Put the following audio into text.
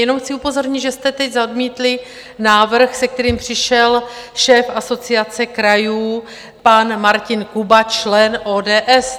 Jenom chci upozornit, že jste teď zamítli návrh, se kterým přišel šéf Asociace krajů pan Martin Kuba, člen ODS.